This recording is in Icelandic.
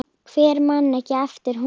Hver man ekki eftir honum?